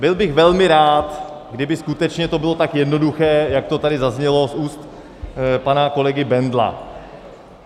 Byl bych velmi rád, kdyby skutečně to bylo tak jednoduché, jak to tady zaznělo z úst pana kolegy Bendla.